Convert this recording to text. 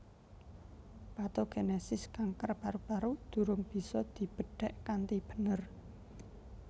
Patogenesis kanker paru paru durung bisa dibedhek kanthi bener